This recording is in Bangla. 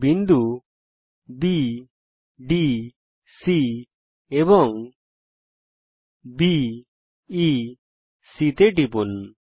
বিন্দু বি ডি C এবং বি ই C তে টিপুন